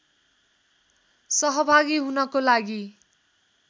सहभागी हुनको लागि